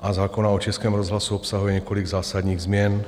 a zákona o Českém rozhlasu obsahuje několik zásadních změn.